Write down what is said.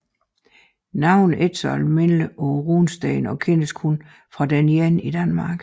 Navnet er ikke så almindeligt på runesten og kendes kun fra denne ene i Danmark